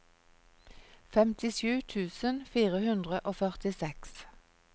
femtisju tusen fire hundre og førtiseks